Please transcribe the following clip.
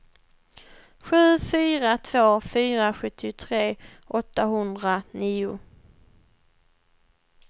sju fyra två fyra sjuttiotre åttahundranio